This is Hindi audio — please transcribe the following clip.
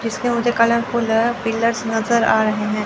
इसमें मुझे कलरफूल पिलर्स नजर आ रहे हैं।